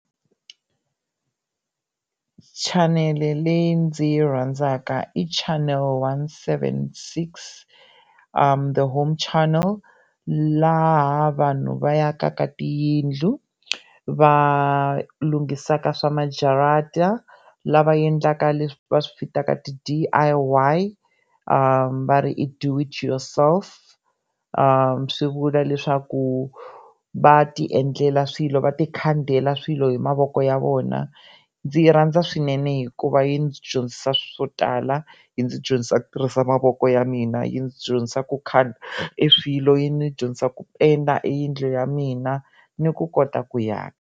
Chanele leyi ndzi yi rhandzaka i chanele one seven six The home channel laha vanhu va akaka tiyindlu, va lunghisaka swa majarata, lava endlaka leswi va swi vitaka ti-D_I_Y va ri i Do It For Yourself swi vula leswaku va ti endlela swilo va ti khandela swilo hi mavoko ya vona ndzi yi rhandza swinene hikuva yi ndzi dyondzisa swo tala yi ndzi dyondzisa ku tirhisa mavoko ya mina yi ndzi dyondzisa ku khanda e swilo yi ndzi dyondzisa ku penda e yindlu ya mina ni ku kota ku aka.